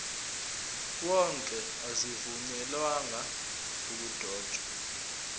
wonke azivunyelwanga ukudotshwa